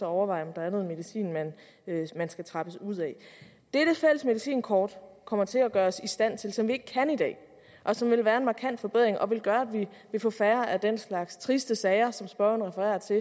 overveje om der er noget medicin man skal trappes ud af det det fælles medicinkort kommer til at gøre os i stand til og som vi ikke kan i dag og som vil være en markant forbedring og som vil gøre at vi får færre af den slags triste sager som spørgeren refererer til